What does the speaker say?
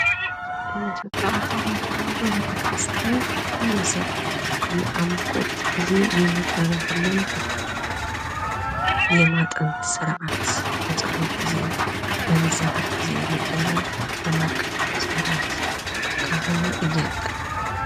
የሃይማኖት መሪዎችና አስተማሪዎች እምነቱን በመጠበቅና ለተከታዮቻቸው በመምራት ኃላፊነት አለባቸው።